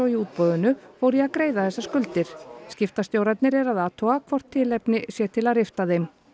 í útboðinu fór svo í að greiða þessar skuldir skiptastjórarnir eru að athuga hvort tilefni sé til að rifta þeim